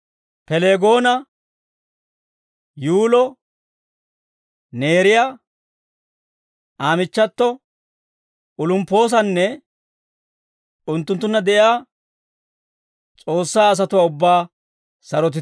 Pileegoona, Yuulo, Neeriyaa, Aa michchato, Olumppoosanne unttunttunna de'iyaa S'oossaa asatuwaa ubbaa sarotite.